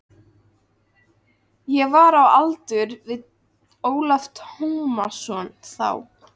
Ég var á aldur við Ólaf Tómasson þá.